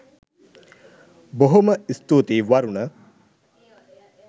බොහොම ස්තුතියි වරුණ.